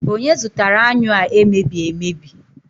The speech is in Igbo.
onye zụtara anyụ a emebi emebi